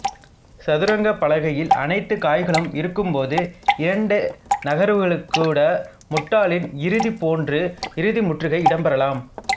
சதுரங்கப் பலகையில் அனைத்துக் காய்களும் இருக்கும்போதே இரண்டு நகர்வுகளிற்கூட முட்டாளின் இறுதி போன்று இறுதி முற்றுகை இடம்பெறலாம்